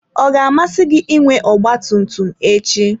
Ọ ga-amasị gị inwe ọgba tum tum echi?